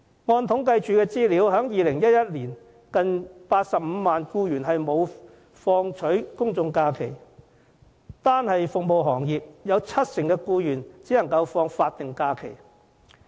按政府統計處的資料，在2011年，近85萬名僱員沒有放取公眾假期，單是服務行業就有七成僱員只能放取法定假期。